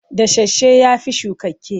Dasasshe ya fi shukakke.